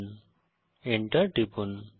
Enter টিপুন